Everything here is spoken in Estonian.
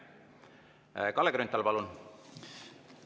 Kalle Grünthal, palun!